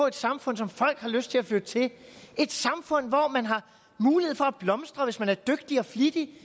et samfund som folk har lyst til at flytte til et samfund hvor man har mulighed for at blomstre hvis man er dygtig og flittig